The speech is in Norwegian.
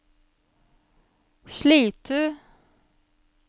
Slitu